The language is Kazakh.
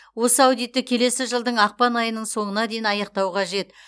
осы аудитті келесі жылдың ақпан айының соңына дейін аяқтау қажет